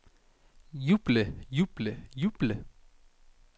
juble juble juble